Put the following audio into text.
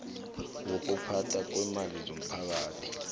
wokuphathwa kweemali zomphakathi